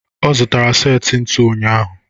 Ọ zụtara seti ntu ụnyaahụ.